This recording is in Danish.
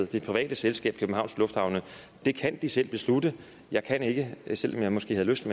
det private selskab københavns lufthavne as det kan de selv beslutte jeg kan ikke selv om jeg måske havde lyst